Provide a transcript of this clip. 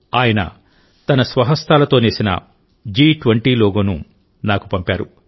ఆయన తన స్వహస్తాలతో నేసిన ఈ జి20 లోగోను నాకు పంపారు